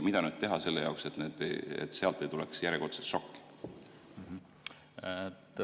Mida nüüd teha selle jaoks, et sealt ei tuleks järjekordset šokki?